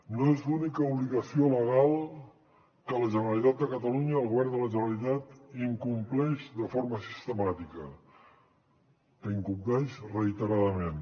no és l’única obligació legal que la generalitat de catalunya el govern de la generalitat incompleix de forma sistemàtica que incompleix reiteradament